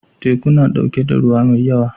Teku na ɗauke da ruwa mai yawa.